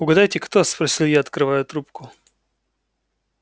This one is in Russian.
угадайте кто спросил я открывая трубку